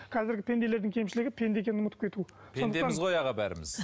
қазіргі пенделердің кемшілігі пенде екенін ұмытып кету пендеміз ғой аға бәріміз